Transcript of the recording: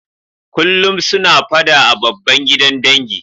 Kullum suna fada a babba gidan dangi.